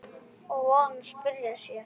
Og von að spurt sé.